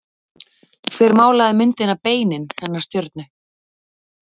Hver málaði myndina Beinin hennar stjörnu?